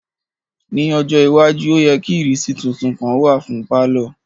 Ni ojo iwaju o yẹ ki ìrísí titun kan wa fun palọ.